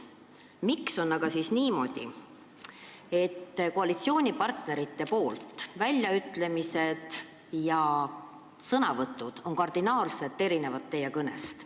Miks on aga siis niimoodi, et koalitsioonipartnerite väljaütlemised ja sõnavõtud teie omadest kardinaalselt erinevad?